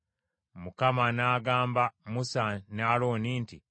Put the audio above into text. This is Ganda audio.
Mukama n’agamba Musa ne Alooni nti,